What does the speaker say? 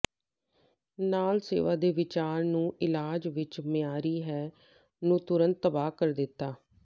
ਨਾਲ ਸੇਵਾ ਦੇ ਵਿਚਾਰ ਨੂੰ ਇਲਾਜ ਵਿਚ ਮਿਆਰੀ ਹੈ ਨੂੰ ਤੁਰੰਤ ਤਬਾਹ ਕਰ ਦਿੱਤਾ